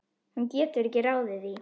Hún getur ekki ráðið því.